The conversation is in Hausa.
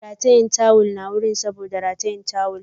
Ratayen tawull na gun saboda tawul